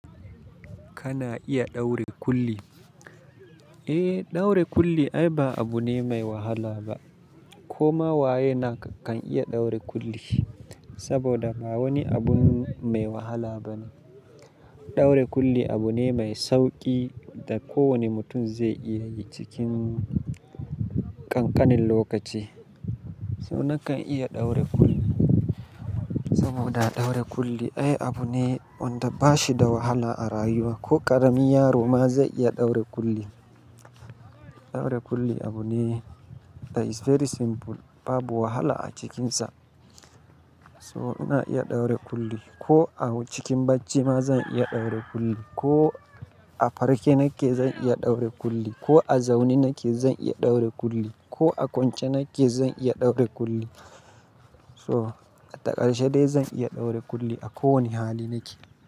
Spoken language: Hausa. Kana iya ɗaure kulli. Eh, ɗaure kulli ai ba abu ne mai wahala ba. Koma wayena kan iya ɗaure kulli, saboda ba wani abun mai wahala ba ne. Ɗaure kulli abu ne mai sauƙi da kowane mutum zai iya yi cikin ƙanƙanin lokaci. So nakan iya ɗaure kulli, saboda ɗaure kulli ai abu ne wanda ba shi da wahala a rayuwa. Ko ƙarami yaro ma zai iya ɗaure kulli. Ɗaure kulli abu ne that is very simple, babu wahala a cikinsa. So ina iya ɗaure kulli. Ko a cikin bacci ma zan iya ɗaure kulli. Ko a farke nake zan iya ɗaure kulli. Ko a zaune nake zan iya ɗaure kulli. Ko a kwance nake zan iya ɗaure kulli. So a takaice dai zan iya ɗaure kulli a kowane hali nake.